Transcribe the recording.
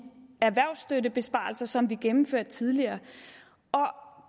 erhvervsstøttebesparelser som vi gennemførte tidligere og